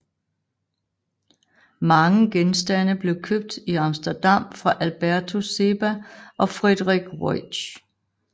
Mange genstande blev købt i Amsterdam fra Albertus Seba ogFrederik Ruysch